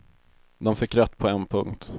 De fick rätt på en punkt.